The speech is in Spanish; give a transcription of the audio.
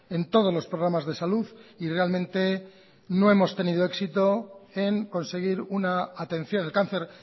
en todos los programas de salud y realmente no hemos tenido éxito en conseguir una atención el cáncer